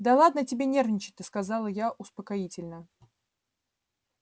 да ладно тебе нервничать-то сказала я успокоительно